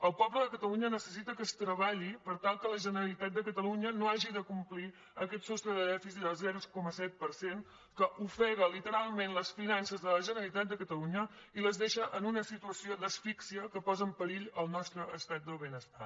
el poble de catalunya necessita que es treballi per tal que la generalitat de catalunya no hagi de complir aquest sostre de dèficit del zero coma set per cent que ofega literalment les finances de la generalitat de catalunya i les deixa en una situació d’asfíxia que posa en perill el nostre estat del benestar